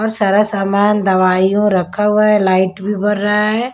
और सारा सामान दवाई और रखा हुआ है लाइट भी भर रहा है।